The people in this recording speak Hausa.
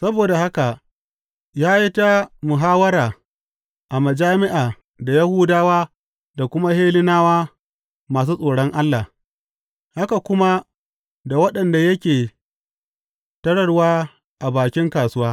Saboda haka ya yi ta muhawwara a majami’a da Yahudawa da kuma Hellenawa masu tsoron Allah, haka kuma da waɗanda yake tararwa a bakin kasuwa.